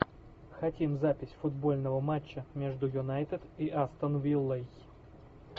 хотим запись футбольного матча между юнайтед и астон виллой